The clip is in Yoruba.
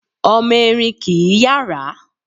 Ọmọ Erin kìí yàrá